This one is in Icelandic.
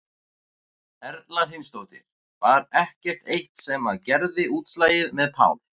Erla Hlynsdóttir: Var ekkert eitt sem að gerði útslagið með Pál?